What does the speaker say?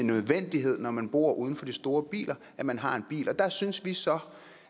nødvendighed når man bor uden for de store byer at man har en bil der synes vi så